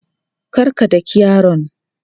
Kar ka daki yaron!